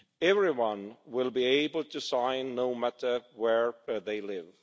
Everyone will be able to sign no matter where they live.